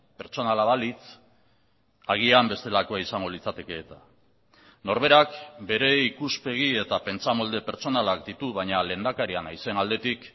pertsonala balitz agian bestelakoa izango litzateke eta norberak bere ikuspegi eta pentsamolde pertsonalak ditu baina lehendakaria naizen aldetik